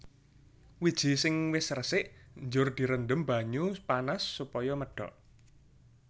Wiji sing wis resik njur direndhem banyu panas supaya medhok